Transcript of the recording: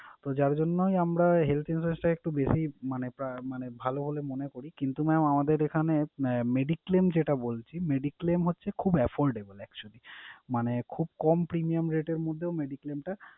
তো যার জন্যই আমরা health insurance টা একটু বেশি মানে আহ মানে ভালো বলে মনে করি কিন্তু mam আমাদের এখানে আহ mediclaim যেটা বলছি mediclaim হচ্ছে খুব effortable actually । মানে খুব কম premium rate এর মধ্যেও mediclaim টা